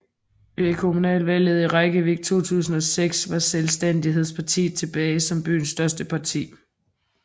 Ved kommunalvalget i Reykjavík 2006 var Selvstændighedspartiet tilbage som byens største parti